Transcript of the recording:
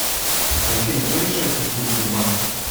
афина кто решает судьбу сбербанка